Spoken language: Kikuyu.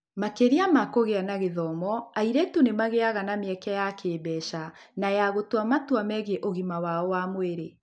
Makĩria ma kũgĩa na gĩthomo, airĩtu nĩ magĩaga na mĩeke ya kĩĩmbeca na ya gũtua matua megiĩ ũgima wao wa mwĩrĩ. (